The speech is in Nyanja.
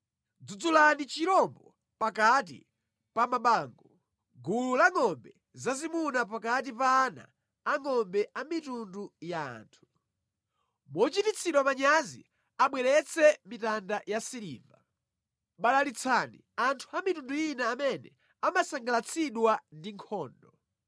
Dzudzulani chirombo pakati pa mabango, gulu la ngʼombe zazimuna pakati pa ana angʼombe a mitundu ya anthu. Mochititsidwa manyazi, abweretse mitanda ya siliva. Balalitsani anthu a mitundu ina amene amasangalatsidwa ndi nkhondo.